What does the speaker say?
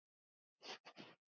Hvað kemur fram í þeim?